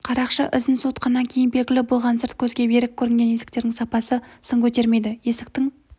қарақшылар ізін суытқаннан кейін белгілі болған сырт көзге берік көрінген есіктердің сапасы сын көтермейді есіктің